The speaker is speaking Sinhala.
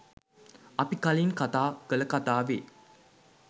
අපි කලින් කතා කළ කතාවේ